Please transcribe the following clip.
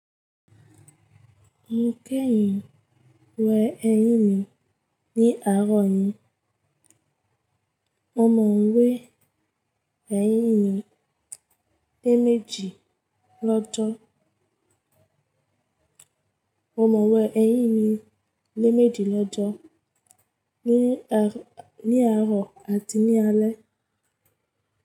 Mokẹyìn wẹ ẹ̀yín mi ní àárọ̀ yìí. O mọ̀ wipe ẹ̀yín mi lé méjì lọ́jọ́, o mọ̀ wẹ ẹ̀yín mi lé méjì lọ́jọ́, ní àárọ̀ àti ní alẹ́.